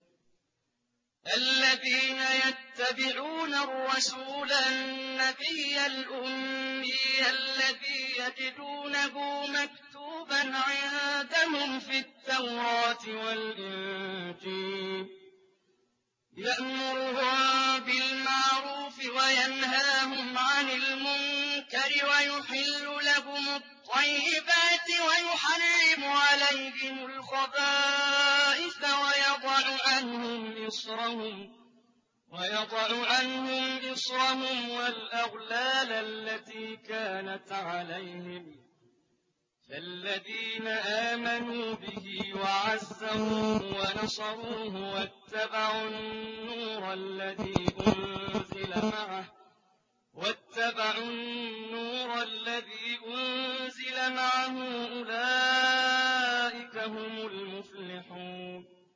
الَّذِينَ يَتَّبِعُونَ الرَّسُولَ النَّبِيَّ الْأُمِّيَّ الَّذِي يَجِدُونَهُ مَكْتُوبًا عِندَهُمْ فِي التَّوْرَاةِ وَالْإِنجِيلِ يَأْمُرُهُم بِالْمَعْرُوفِ وَيَنْهَاهُمْ عَنِ الْمُنكَرِ وَيُحِلُّ لَهُمُ الطَّيِّبَاتِ وَيُحَرِّمُ عَلَيْهِمُ الْخَبَائِثَ وَيَضَعُ عَنْهُمْ إِصْرَهُمْ وَالْأَغْلَالَ الَّتِي كَانَتْ عَلَيْهِمْ ۚ فَالَّذِينَ آمَنُوا بِهِ وَعَزَّرُوهُ وَنَصَرُوهُ وَاتَّبَعُوا النُّورَ الَّذِي أُنزِلَ مَعَهُ ۙ أُولَٰئِكَ هُمُ الْمُفْلِحُونَ